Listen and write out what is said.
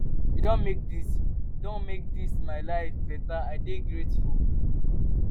you don make dis don make dis my life beta i dey grateful.